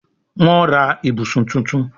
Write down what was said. Wón rà ibùsùn títún.